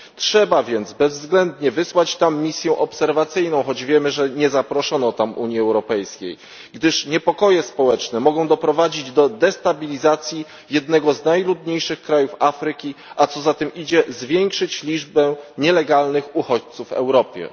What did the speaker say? Trzeba więc bezwzględnie wysłać tam misję obserwacyjną choć wiemy, że nie zaproszono tam Unii Europejskiej gdyż niepokoje społeczne mogą doprowadzić do destabilizacji jednego z najludniejszych krajów Afryki, a co za tym idzie, zwiększyć liczbę nielegalnych uchodźców w Europie.